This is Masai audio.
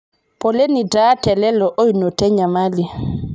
poleni taa te lelo oinoto enyamali